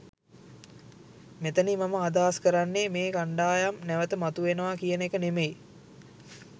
මෙතනින් මම අදහස් කරන්නේ මේ කණ්ඩායම් නැවත මතුවෙනවා කියන එක නෙමෙයි.